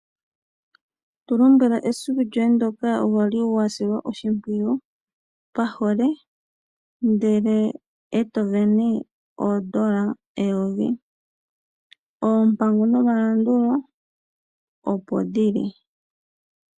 Tulombwela esiku lyoye ndoka wali wa silwa oshimpwiyu pahole eto sindana oondola eyovi. Oompango nomalandulo opo dhili.